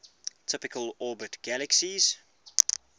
typically orbit galaxies